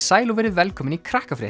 sæl og verið velkomin í